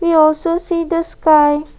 there also see this sky.